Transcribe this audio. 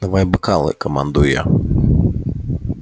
давай бокалы командую я